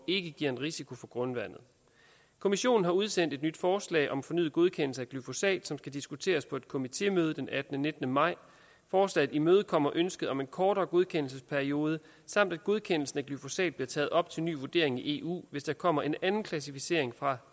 ikke giver en risiko for grundvandet kommissionen har udsendt et nyt forslag om fornyet godkendelse af glyfosat som skal diskuteres på et komitémøde den attende nitten maj forslaget imødekommer ønsket om en kortere godkendelsesperiode samt at godkendelsen af glyfosat bliver taget op til ny vurdering i eu hvis der kommer en anden klassificering fra